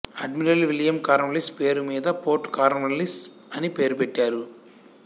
admiral William Cornwallis పేరు మీద port Cornwallis అని పేరు పెట్టారు